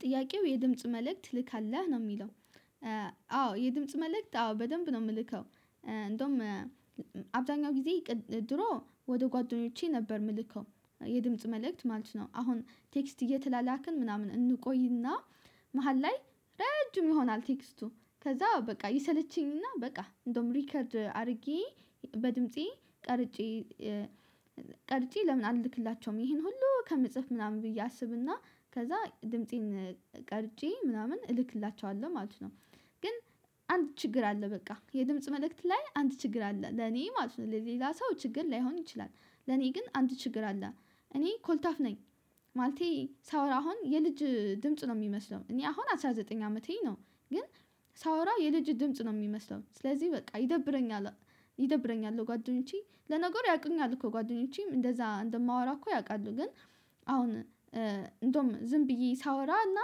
ጥያቄው የድምጽ መልእክት ትልካለህ ነው የሚለው? አዎ የድምጽ መልእክት አዎ በደንብ ነው የምልከው። እንደውም አብዛኛው ጊዜ ድሮ ወደ ጓደኞቼ ነበር የምልከው የድምጽ መልእክት ማለት ነው። አሁን ቴክስት እየተላላክን ምናምን እንቆይና መሃል ላይ ረጅም ይሆናል ቴክስቱ ከዛ በቃ ይሰለቸኝና በቃ እንደውም ሪከርድ አድርጌ በድምፄ ቀርጬ። ቀርጬ ለምን አልክላቸውም ይሄን ሁሉ ከመጽሐፍ ምናምን ብዬ አስብና ከዛ ድምፄን ቀርጬ ምናምን እልክላቸዋለሁ ማለት ነው። ግን አንድ ችግር አለ። በቃ የድምጽ መልእክት ላይ አንድ ችግር አለ ለኔ ማለት ነው ሌላ ሰው ችግር ላይሆን ይችላል። ለኔ ግን አንድ ችግር አለ እኔ ኮልታፍ ነኝ። ማለቴ ሳወራ አሁን የልጅ ድምጽ ነው የሚመስለው እኔ አሁን አስራ ዘጠኝ አመቴ ነው። ግን ሳወራ የልጅ ድምጽ ነው የሚመስለው ስለዚህ በቃ ይደብረኛል። ይደብረኛል ጓደኞቼ ለነገር ያውቁኛል እኮ ጓደኞቼም እንደዛ እንደማወራ እኮ ያውቃሉ ግን። አሁን እንደውም ዝም ብዬ እና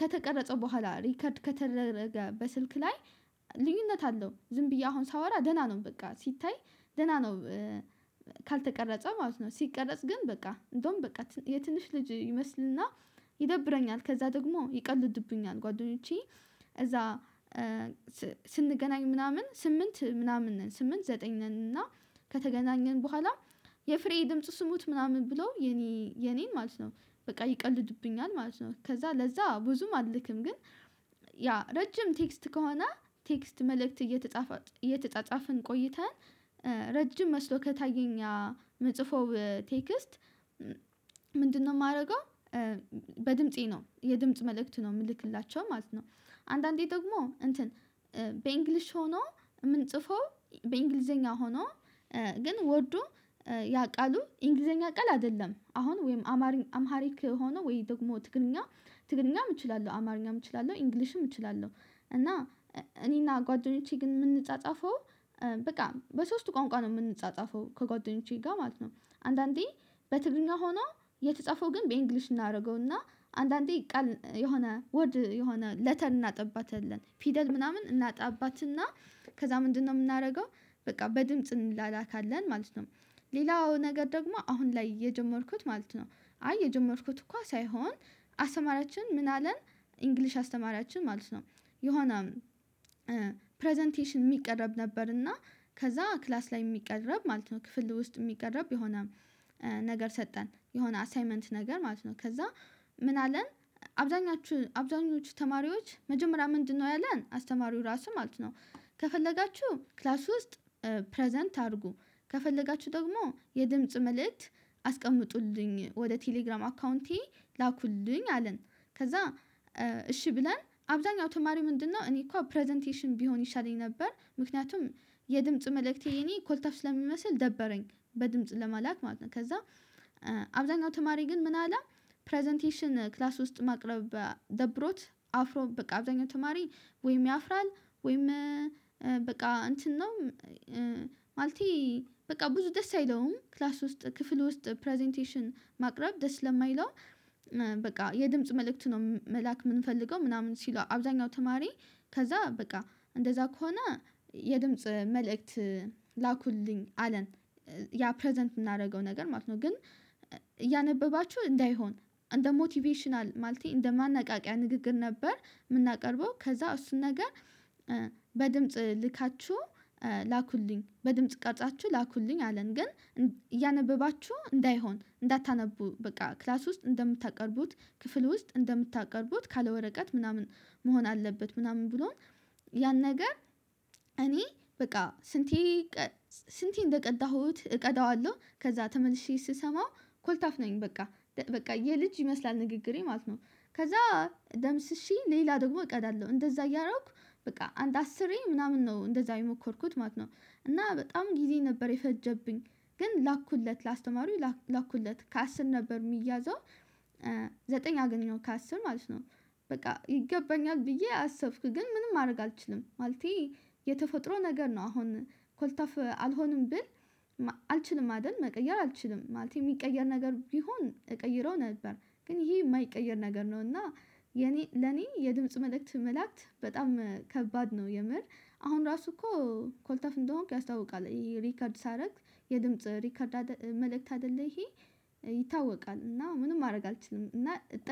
ከተቀረጸው በኋላ ሪከርድ ከተደረገበት ስልክ ላይ ልዩነት አለው ዝም ብዬ አሁን ሳወራ ደህና ነው በቃ ሲታይ ደህና ነው። ካልተቀረጸ ማለት ነው ሲቀረጽ ግን በቃ እንደውም በቃ የትንሽ ልጅ ይመስልና ይደብረኛል። ከዛ ደግሞ ይቀልዱብኛል ጓደኞቼ። እዛ ስንገናኝ ምናምን ስምንት ምናምን ነን ስምንት ዘጠኝ ነን እና ከተገናኘን በኋላ የፍሬ ድምጽ ስሙት ምናምን ብለው የኔ የኔን ማለት ነው በቃ ይቀልድብኛል ማለት ነው። ከዛ ለዛ ብዙም አልክም ግን። ያ ረጅም ቴክስት ከሆነ ቴክስት መልእክት እየተጣጣፈን እየተጻፈን ቆይተን ረጅም መስሎ ከታየኛ መጽፎ ቴክስት። ምንድነው የማደርገው? በድምፄ ነው የድምጽ መልእክት ነው የምልክላቸው ማለት ነው። አንዳንዴ ደግሞ እንትን በእንግሊሽ ሆኖ የምንጽፈው በእንግሊዘኛ ሆኖ ግን ወርዶ ያቃሉ እንግሊዘኛ ቃል አይደለም አሁን ወይም አማሪክ ሆኖ ወይ ደግሞ ትግርኛ ትግርኛም እችላለሁ አማርኛም እችላለሁ ኢንግሊሽም እችላለሁ። እና እኔና ጓደኞቼ ግን የምንጻጻፈው በቃ በሶስቱ ቋንቋ ነው የምንጻጻፈው ከጓደኞቼ ጋር ማለት ነው። አንዳንዴ በትግርኛ ሆኖ የተጻፈው ግን በእንግሊሽ እናደርገውና አንዳንዴ ቃል የሆነ ወርድ የሆነ ለተን እናጠባታለን ፊደል ምናምን እናጣባትና ከዛ ምንድነው የምናደርገው? በቃ በድምጽ እንላላካለን ማለት ነው። ሌላው ነገር ደግሞ አሁን ላይ የጀመርኩት ማለት ነው። አይ የጀመርኩት እኮ ሳይሆን አስተማራችን ምን አለን ኢንግሊሽ አስተማሪያችን ማለት ነው። የሆነ ፕረዘንቴሽን የሚቀረብ ነበር እና ከዛ ክላስ ላይ የሚቀረብ ማለት ነው ክፍል ውስጥ የሚቀረብ የሆነ። ነገር ሰጠን የሆነ አሳይመንት ነገር ማለት ነው ከዛ። ምን አለን? አብዛኛችሁ አብዛኞቹ ተማሪዎች መጀመሪያ ምንድነው ያለን አስተማሪው ራሱ ማለት ነው። ከፈለጋችሁ ክላስ ውስጥ ፕረዘንት አድርጉ ከፈለጋችሁ ደግሞ የድምጽ መልእክት አስቀምጡልኝ ወደ ቴሌግራም አካውንቴ ላኩልኝ አለን። ከዛ እሺ ብለን አብዛኛው ተማሪው ምንድነው እኔ እኮ ፕረዘንቴሽን ቢሆን ይሻለኝ ነበር ምክንያቱም። የድምጽ መልእክቴ እኔ ኮልታፋ ስለሚመስል ደበረኝ በድምጽ ለማላክ ማለት ነው። ከዛ አብዛኛው ተማሪ ግን ምን አለ? ፕረዘንቴሽን ክላስ ውስጥ ማቅረብ ደብሮት አፍሮ በቃ አብዛኛው ተማሪ ወይም ያፍራል ወይም በቃ እንትን ነው። ማለቴ በቃ ብዙ ደስ አይለውም ክላስ ውስጥ ክፍል ውስጥ ፕረዘንቴሽን ማቅረብ ደስ ስለማይለው። በቃ የድምጽ መልእክት ነው መልአክ የምንፈልገው ምናምን ሲሉ አብዛኛው ተማሪ ከዛ በቃ እንደዛ ከሆነ የድምጽ መልእክት። ላኩልኝ አለን። ያ ፕረዘንት የምናደርገው ነገር ማለት ነው። ግን እያነበባችሁ እንዳይሆን እንደ ሞቲቬሽናል ማለቴ እንደ ማናቃቂያ ንግግር ነበር የምናቀርበው ከዛ እሱን ነገር። በድምጽ ልካችሁ ላኩልኝ በድምጽ ቀርጻችሁ ላኩልኝ አለን። ግን እያነበባችሁ እንዳይሆን እንዳታነቡ በቃ ክላስ ውስጥ እንደምታቀርቡት ክፍል ውስጥ እንደምታቀርቡት ካለ ወረቀት ምናምን መሆን አለበት ምናምን ብሎን። ያን ነገር እኔ በቃ ስንቴ ስንቴ እንደቀዳሁት እቀዳዋለሁ ከዛ ተመልሼ ስሰማው ኮልታፍ ነኝ በቃ በቃ የልጅ ይመስላል ንግግሬ ማለት ነው። ከዛ ደምስሼ ሌላ ደግሞ እቀዳለሁ እንደዛ እያረኩ በቃ አንድ አስርኝ ምናምን ነው እንደዛ የሞከርኩት ማለት ነው። እና በጣም ጊዜ ነበር የፈጀብኝ። ግን ላኩለት ላስተማሩኝ ላኩለት ከአስር ነበር የሚያዘው። ዘጠኝ አገኘው ከአስር ማለት ነው። በቃ ይገባኛል ብዬ አሰብኩ ግን ምንም ማድረግ አልችልም ማለቴ። የተፈጥሮ ነገር ነው አሁን ኮልታፍ አልሆንም ብል አልችልም አይደል መቀየር አልችልም ማለት የሚቀየር ነገር ቢሆን እቀይረው ነበር። ግን ይሄ የማይቀየር ነገር ነው። እና የኔ ለኔ የድምጽ መልእክት መላእክት በጣም ከባድ ነው። የምር አሁን ራሱ እኮ ኮልተፍ እንደሆንኩ ያስታውቃል ሪከርድ ሳደርግ። የድምጽ ሪከርድ መልእክት አይደለም ይሄ። ይታወቃል እና ምንም ማድረግ አልችልም እና።